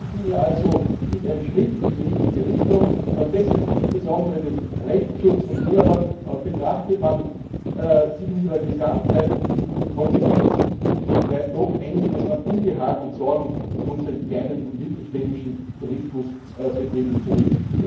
Die Richtlinie ist also ein Schritt in die richtige Richtung, verbessert insbesondere den Rechtsschutz von Urlaubern. Betrachtet man sie aber in ihrer Gesamtheit und mit den Konsequenzen, so bleibt doch einiges an Unbehagen und Sorgen für unsere kleinen und mittelständischen Tourismusbetriebe zurück.